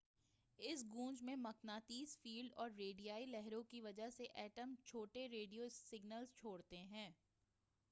اس گونج میں مقناطیسی فیلڈ اور ریڈیائی لہروں کی وجہ سے ایٹم چھوٹے ریڈیو سگنلز چھوڑتے ہیں